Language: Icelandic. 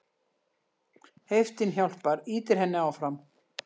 Heiftin hjálpar, ýtir henni áfram.